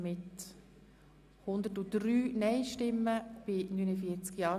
Wir kommen zum Themenblock 3b, Controlling EP 2018.